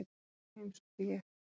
Þá heimsótti ég